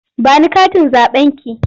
Ba ni katin zaɓenki!